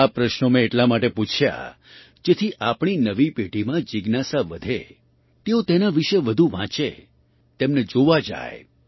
આ પ્રશ્નો મેં એટલા માટે પૂછ્યા જેથી આપણી નવી પેઢીમાં જિજ્ઞાસા વધે તેઓ તેના વિશે વધુ વાંચે તેમને જોવા જાય